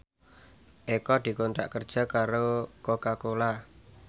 Eko dikontrak kerja karo Coca Cola